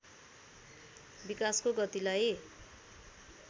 विकासको गतिलाई